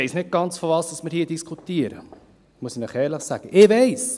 – Ich weiss nicht ganz, worüber wir hier diskutieren, das muss ich Ihnen ehrlich sagen.